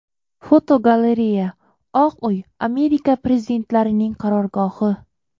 Fotogalereya: Oq uy Amerika prezidentlarining qarorgohi.